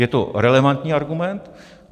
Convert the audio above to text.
Je to relevantní argument.